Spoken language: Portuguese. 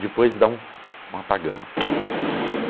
Depois dá um um apagão, assim, não me lembro.